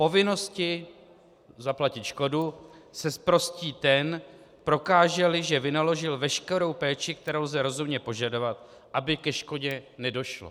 Povinnosti zaplatit škodu se zprostí ten, prokáže-li, že vynaložil veškerou péči, kterou lze rozumně požadovat, aby ke škodě nedošlo.